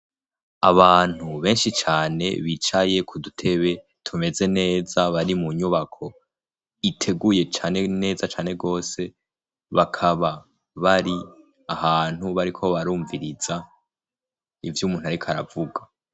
Abantu benshi cane bicaye ku dutebe tumeze neza bari mu nyubako iteguye cane neza cane rwose, bakaba bari ahantu bariko barumviriza ivy'umuntu ariko aravuga.